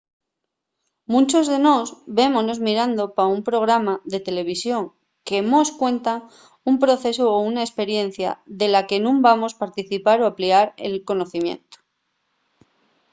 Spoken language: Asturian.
munchos de nós vémonos mirando pa un programa de televisión que mos cuenta un procesu o una esperiencia de la que nun vamos participar o aplicar el conocimientu